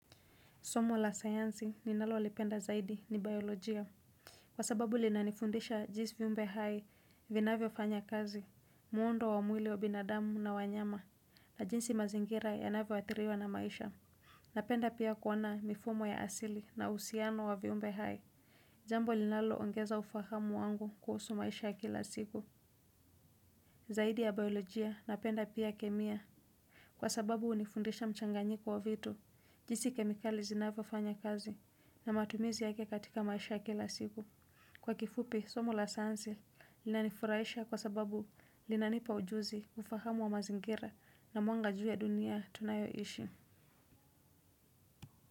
Somo la sayanzi ninalo lipenda zaidi ni biolojia. Kwa sababu lina nifundisha jis viumbe hai vinavyo fanya kazi, muondo wa mwili wa binadamu na wanyama na jinsi mazingira yanavyo athiriwa na maisha. Napenda pia kuona mifumo ya asili na usiano wa viumbe hai. Jambo linalo ongeza ufahamu wangu kuhusu maisha ya kila siku. Zaidi ya biolojia napenda pia kemia. Kwa sababu unifundisha mchanganyiko wa vitu, jisi kemikali zinavyo fanya kazi na matumizi yake katika maisha ya kila siku. Kwa kifupi, somo la sayanzi linanifuraisha kwa sababu linanipa ujuzi, ufahamu wa mazingira na mwanga jua dunia tunayoishi.